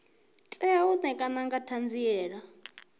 tea u ṋekana nga ṱhanziela